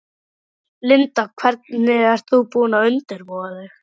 Linda: Hvernig ert þú búin að undirbúa þig?